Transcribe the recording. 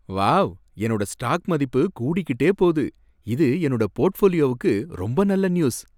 Wow! என்னோட stock மதிப்பு கூடிக்கிட்டே போகுது! இது என்னோட போர்ட்ஃபோலியோக்கு ரொம்ப நல்ல நியூஸ்.